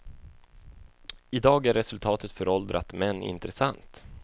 I dag är resultatet föråldrat men intressant.